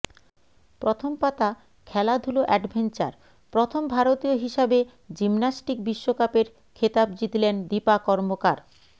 প্রথম পাতা খেলাধুলো অ্যাডভেঞ্চার প্রথম ভারতীয় হিসাবে জিমন্যাস্টিক বিশ্বকাপের খেতাব জিতলেন দীপা কর্মকার